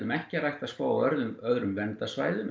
ekki að rækta skóg á öðrum öðrum verndarsvæðum